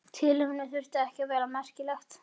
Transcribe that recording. Tilefnið þurfti ekki að vera merkilegt.